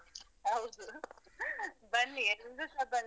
ಹೌದು ಬನ್ನಿ ಎಲ್ಲ್ರು ಸ ಬನ್ನಿ.